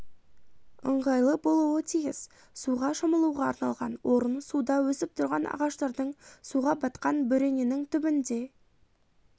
ыңғайлы болуы тиіс суға шомылуға арналған орын суда өсіп тұрған ағаштардың суға батқан бөрененің түбінде